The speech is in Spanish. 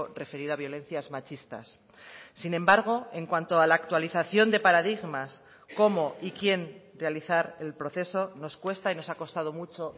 referido a violencias machistas sin embargo en cuanto a la actualización de paradigmas cómo y quién realizar el proceso nos cuesta y nos ha costado mucho